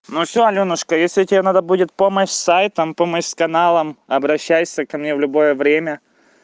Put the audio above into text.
ну все алёнушка если тебе надо будет помощь с сайтам помощь с каналом обращайся ко мне в любое время